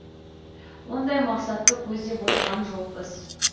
ондай мақсатты көздеп отырған жоқпыз